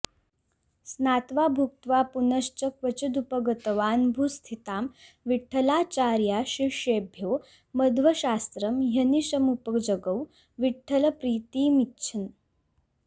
स्नात्वा भुक्त्वा पुनश्च क्वचिदुपगतवान् भूस्थितां विठ्ठलार्चा शिष्येभ्यो मध्वशास्त्रं ह्यनिशमुपजगौ विठ्ठलप्रीतिमिच्छन्